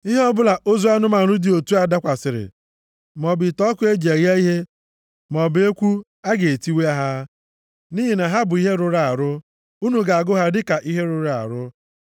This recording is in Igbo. Ihe ọbụla ozu anụmanụ dị otu a dakwasịrị, maọbụ ite ọkụ eji eghe ihe, maọbụ ekwu a ga-etiwa ha. Nʼihi na ha bụ ihe rụrụ arụ, unu ga-agụ ha dịka ihe rụrụ arụ.